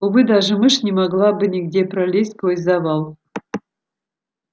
увы даже мышь не могла бы нигде пролезть сквозь завал